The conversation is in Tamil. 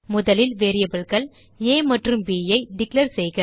முதலில் variableகள் ஆ மற்றும் bஐ டிக்ளேர் செய்க